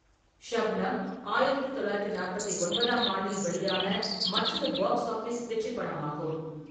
ஷப்னம் ஆயிரத்து தொள்ளாயிரத்து நாற்பத்தி ஒன்பதாம் ஆண்டில் வெளியான மற்றொரு பாக்ஸ் ஆஃபிஸ் வெற்றிப்படமாகும்.